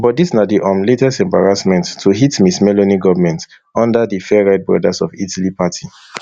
but dis na di um latest embarrassment to hit ms meloni goment under di farright brothers of italy party